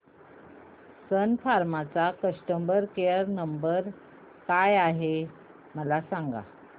सन फार्मा चा customer care क्रमांक काय आहे मला सांगा